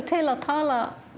til að tala